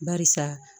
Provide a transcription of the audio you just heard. Barisa